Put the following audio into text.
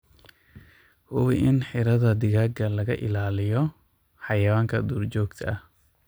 Hubi in xiradhaa digaaga laga ilaaliyo xayawaanka duurjoogta ah.